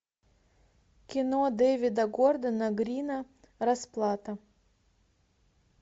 кино дэвида гордона грина расплата